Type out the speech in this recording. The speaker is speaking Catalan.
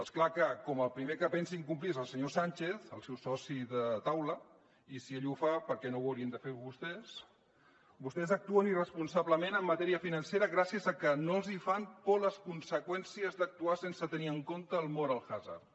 és clar que com que el primer que pensa incomplir és el senyor sánchez el seu soci de taula i si ell ho fa per què no ho haurien de fer vostès vostès actuen irresponsablement en matèria financera perquè no els fan por les conseqüències d’actuar sense tenir en compte el moral hazard